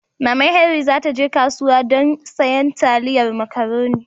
Maman Henri za ta je kasuwa gobe dan sayan taliyar makaroni